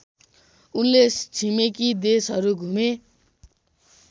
उनले छिमेकी देशहरू घुमे